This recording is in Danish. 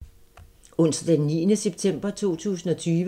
Onsdag d. 9. september 2020